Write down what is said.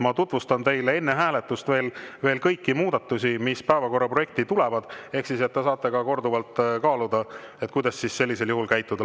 Ma tutvustan teile enne hääletust veel kõiki muudatusi, mis päevakorraprojekti tulevad, ehk siis te saate korduvalt kaaluda, kuidas sellisel juhul käituda.